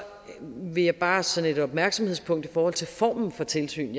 vil jeg bare som et opmærksomhedspunkt i forhold til formen for tilsyn